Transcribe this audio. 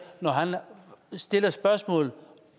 når han stiller spørgsmål